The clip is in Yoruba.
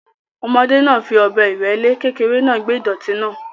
Ọmọdé náà fi ọ̀bẹ ìrẹ́le kékeré náà gbẹ́ ìdọ̀tí náà.